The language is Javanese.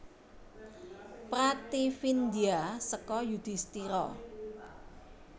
Prativindya seka Yudhistira